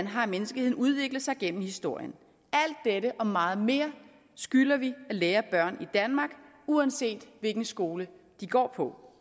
har menneskeheden udviklet sig gennem historien alt dette og meget mere skylder vi at lære børn i danmark uanset hvilken skole de går på